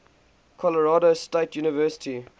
colorado state university